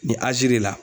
Nin aziri de la